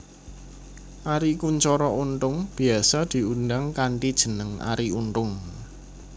Arie Kuncoro Untung biyasa diundang kanthi jeneng Arie Untung